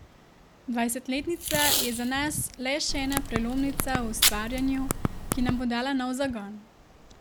Dvajsetletnica je za nas le še ena prelomnica v ustvarjanju, ki nam bo dala nov zagon.